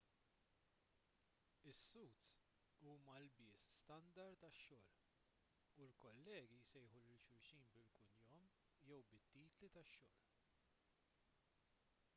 is-suits huma ilbies standard għax-xogħol u l-kollegi jsejħu lil xulxin bil-kunjom jew bit-titli tax-xogħol